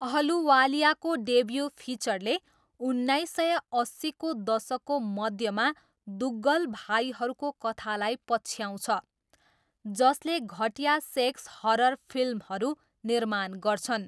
अहलुवालियाको debut फिचरले उन्नाइस सय अस्सीको दशकको मध्यमा दुग्गल भाइहरूको कथालाई पछ्याउँछ जसले घटिया सेक्स हरर फिल्महरू निर्माण गर्छन्।